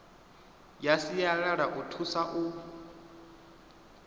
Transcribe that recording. ya sialala i thusa u